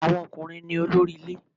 Àwọn ọkùnrin ní olórí ilé